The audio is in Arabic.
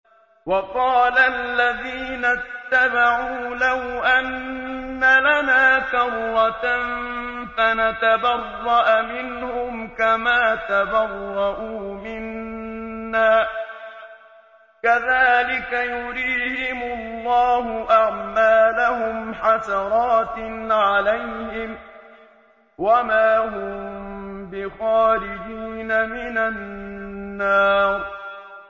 وَقَالَ الَّذِينَ اتَّبَعُوا لَوْ أَنَّ لَنَا كَرَّةً فَنَتَبَرَّأَ مِنْهُمْ كَمَا تَبَرَّءُوا مِنَّا ۗ كَذَٰلِكَ يُرِيهِمُ اللَّهُ أَعْمَالَهُمْ حَسَرَاتٍ عَلَيْهِمْ ۖ وَمَا هُم بِخَارِجِينَ مِنَ النَّارِ